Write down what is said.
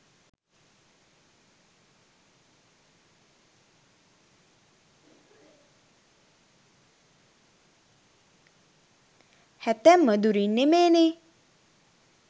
හැතැම්මදු රින් නෙමේනේ.